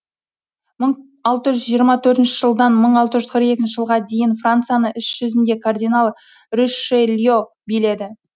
мың алты жүз жиырма төртінші жылдан мың алты жүз қырық екінші жылға дейін францияны іс жүзінде кардинал ришелье биледі